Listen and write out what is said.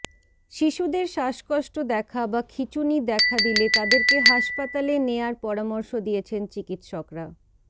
শিশুদের শ্বাসকষ্ট দেখা বা খিচুনি দেখা দিলে তাদেরকে হাসপাতালে নেয়ার পরামর্শ দিয়েছেন চিকিৎসকরা